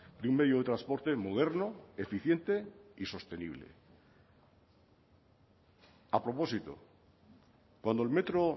de un medio de transporte moderno eficiente y sostenible a propósito cuando el metro